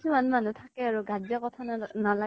কিছুমান মানুহ থাকে আৰু গা ত যে কথা নালাগে